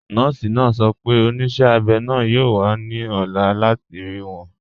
Nọọ̀si naa sọ̀ pẹ̀ onísẹ̀ abẹ́ naa yóò wà ní ọ̀là láti rí wọn.